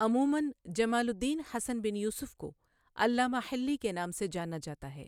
عموماً جمال الدین حسن بن یوسف کو علامہ حِلِّی کے نام سے جانا جاتا ہے